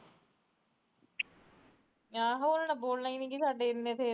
ਆਹੋ ਉਹਨਾਂ ਨੇ ਬੋਲਣਾ ਈ ਨੀ ਪੇ ਇਨੇ ਥੇ ਇਨੇ ਥੇ